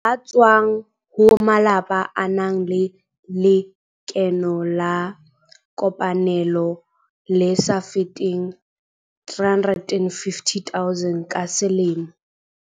Ba tswang ho malapa a nang le lekeno la kopanelo le sa feteng 350 000 ka selemo.